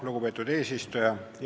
Lugupeetud eesistuja!